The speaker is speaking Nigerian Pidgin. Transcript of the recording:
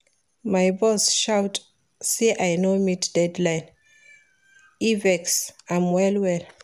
My boss shout say I no meet deadline, e vex am well-well.